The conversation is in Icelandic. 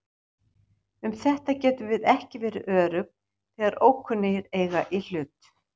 Um þetta getum við ekki verið örugg þegar ókunnugir eiga í hlut.